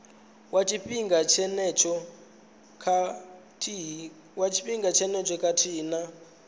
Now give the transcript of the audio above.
wa tshifhinga tshenetsho khathihi na